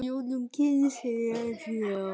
á jólum kysi sér.